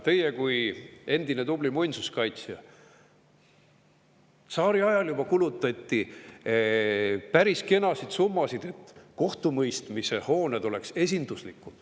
Teie kui endine tubli muinsuskaitsja tsaariajal juba kulutati päris kenasid summasid, et kohtumõistmise hooned oleks esinduslikud.